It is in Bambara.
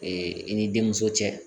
Ee i ni denmuso cɛ